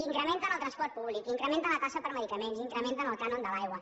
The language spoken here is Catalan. incrementen el transport públic incrementen la taxa per medicaments incrementen el cànon de l’aigua